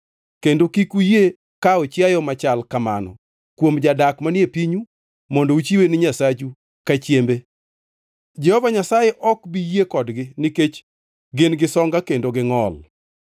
kendo kik uyie kawo chiayo machal kamano kuom jadak manie pinyu mondo uchiwe ni Nyasachu ka chiembe. Jehova Nyasaye ok bi yie kodgi nikech gin-gi songa kendo gingʼol.’ ”